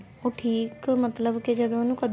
ਉਹ ਠੀਕ ਮਤਲਬ ਕੀ ਜਦੋਂ ਉਹਨੂੰ